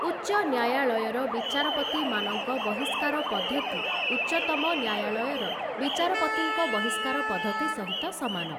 ଉଚ୍ଚନ୍ୟାୟଳୟର ବିଚାରପତିମାନଙ୍କ ବହିଷ୍କାର ପଦ୍ଧତି, ଉଚ୍ଚତମ ନ୍ୟାୟାଳୟର ବିଚାରପତିଙ୍କ ବିହିଷ୍କାର ପଦ୍ଧତି ସହିତ ସମାନ ।